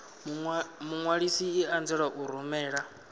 muṅwalisi i anzela u rumela